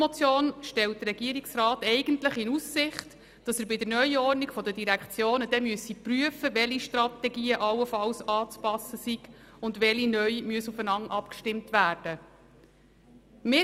Eigentlich stellt der Regierungsrat in seiner Antwort auf die Motion in Aussicht, bei der Neuordnung der Direktionen zu prüfen, welche Strategien allenfalls angepasst und welche neu aufeinander abgestimmt werden müssen.